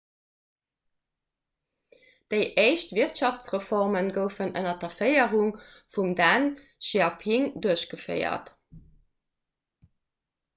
déi éischt wirtschaftsreforme goufen ënner der féierung vum deng xiaoping duerchgeféiert